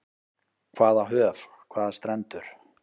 Hvaða höf, hvaða strendur.